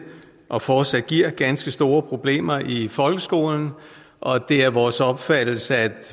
og fortsat giver ganske store problemer i folkeskolen og det er vores opfattelse at